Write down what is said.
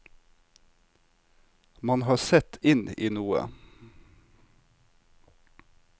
Man har sett inn i noe.